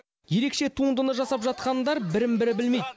ерекше туындыны жасап жатқандар бірін бірі білмейді